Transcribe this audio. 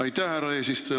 Aitäh, härra eesistuja!